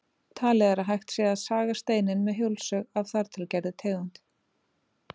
Talið er að hægt sé að saga steininn með hjólsög af þar til gerðri tegund.